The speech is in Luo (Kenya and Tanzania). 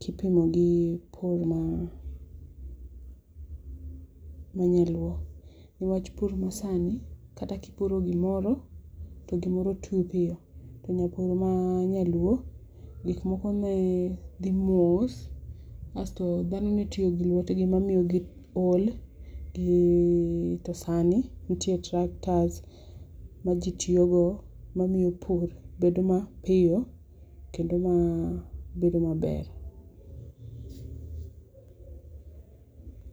kipimo gi pur ma ,ma nyaluo, ni wach pur ma sani kata kipuro gi moro to gi moro tii piyo to nyapur ma nyaluo pur ne dhi mos asto dhano ne tiyo gi lwetgi ma ne miyo gi ol gi to sani nitie tractors ma ji tiyo go ma miyo pur bedo ma piyo kendo bedo ma mor